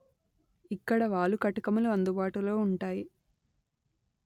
ఇక్కడ వాలు కటకములు అందుబాటులో ఉంటాయి